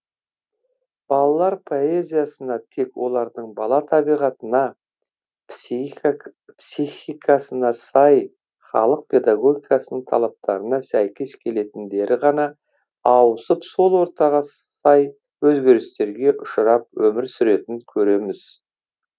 балалар поэзиясына тек олардың бала табиғатына психикасына сай халық педогогикасының талаптарына сәйкес келетіндері ғана ауысып сол ортаға сай өзгерістерге ұшырап өмір сүретінін көреміз